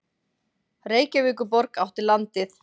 Reykjavíkurborg átti landið.